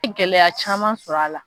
I gɛlɛya caman sɔrɔ a la.